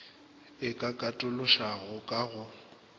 e ka katološwago ka go